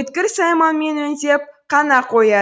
өткір сайманмен өңдеп қана қояды